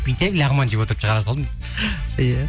бүйтіп лағман жеп отырып шығара салдым иә